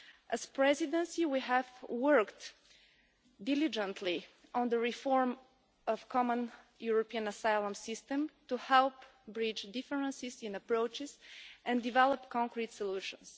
As the Presidency, we have worked diligently on the reform of the Common European Asylum System to help bridge differences in approaches and develop concrete solutions.